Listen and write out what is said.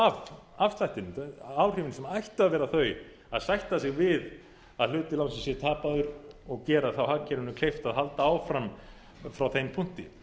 af afslættinum áhrifin sem ættu að vera þau að sætta sig við að hluti lánsins sé tapaður og gera þá hagkerfinu kleift að halda áfram frá þeim punkti